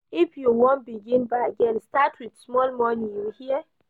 If you wan begin bargain, start wit small moni, you hear?